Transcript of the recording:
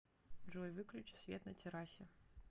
джой выключи свет на террасе